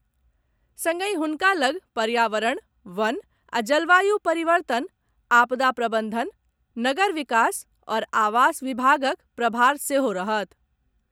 संगहि हुनका लग पर्यावरण, वन आ जलवायु परिवर्तन, आपदा प्रबंधन, नगर विकास आओर आवास विभागक प्रभार सेहो रहत।